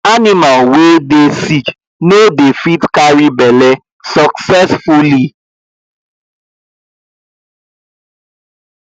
animal wey dey sick no dey fit carry belle succesfully